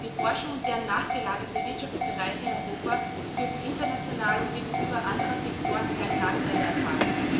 Die Forschung und deren nachgelagerte Wirtschaftsbereiche in Europa dürfen international und gegenüber anderen Sektoren keine Nachteile erfahren.